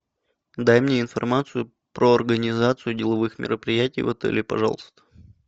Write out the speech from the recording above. дай мне информацию про организацию деловых мероприятий в отеле пожалуйста